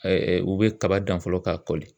u bɛ kaba dan fɔlɔ k'a kɔli.